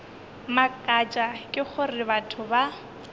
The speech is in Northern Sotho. mmakatša ke gore batho ba